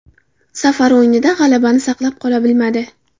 Safar o‘yinida g‘alabani saqlab qola bilmadi.